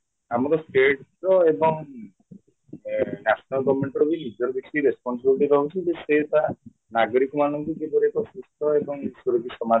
ଆମ state ର ଏବଂ ଏଁ national governmentର ନିଜର କିଛି responsibility ରହୁଛି ଯେ ସେ ତା ନାଗରିକ ମାନଙ୍କୁ କିପରି ଏକ ସୁସ୍ଥ ଏବଂ ସୁରକ୍ଷିତ ସମାଜ କରିଦେବେ